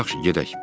Yaxşı, gedək.